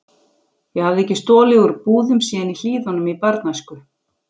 Ég hafði ekki stolið úr búðum síðan í Hlíðunum í barnæsku.